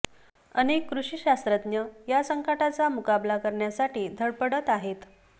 अनेक कृषी शास्त्रज्ञ या संकटाचा मुकाबला करण्यासाठी धडपडत आहेत